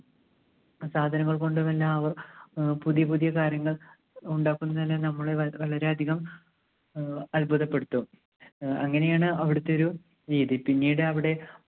സാധനങ്ങൾ കൊണ്ടുമെല്ലാം അവർ അഹ് പുതിയ പുതിയ കാര്യങ്ങൾ ഉണ്ടാക്കുന്നതിനെ നമ്മള് വ~വളരെയധികം ആഹ് അത്ഭുതപ്പെടുത്തും. അഹ് അങ്ങനെയാണ് അവിടുത്തെ ഒരു രീതി. പിന്നീട് അവിടെ